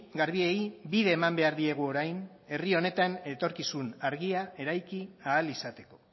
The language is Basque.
garbiei bide eman behar diegu orain herri honetan etorkizun argia eraiki ahal izateko